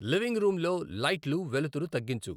living రూమ్లో లైట్లు వెలుతురు తగ్గించు